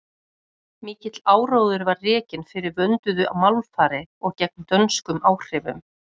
mikill áróður var rekinn fyrir vönduðu málfari og gegn dönskum áhrifum